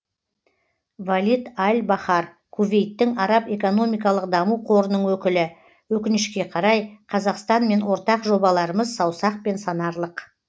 валид аль бахар кувейттің араб экономикалық даму қорының өкілі өкінішке қарай қазақстанмен ортақ жобаларымыз саусақпен санарлық